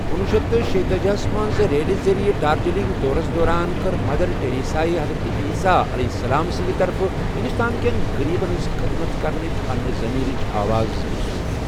کُنوُہ شیٚتھ تہٕ شیتأجی منٛز ریلہِ ذٔریعہِ دارجلنگ دورَس دوران كٕر مدر ٹریسایہ حضرتِ عیسیٰ سندِ طرفہٕ ہندوستانٕکین غریبَن ہٕنٛز خٔدمَت كرنٕچہِ پننہِ ضمیرٕچہِ آواز محسوٗس ۔